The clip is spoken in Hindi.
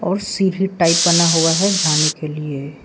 और सीढ़ी टाइप बना हुआ है जाने के लिए।